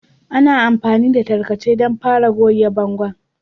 Ana amfani da tarkace don fara goge bangon